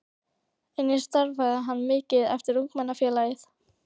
Einnig starfaði hann mikið fyrir Ungmennafélagið.